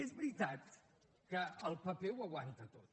és veritat que el paper ho aguanta tot